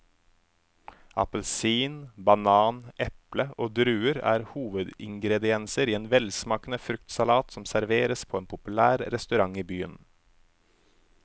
Appelsin, banan, eple og druer er hovedingredienser i en velsmakende fruktsalat som serveres på en populær restaurant i byen.